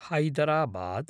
Hyderabad